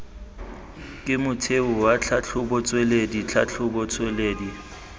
ke motheo wa tlhatlhobotsweledi tlhatlhobotsweledi